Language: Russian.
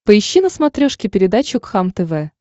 поищи на смотрешке передачу кхлм тв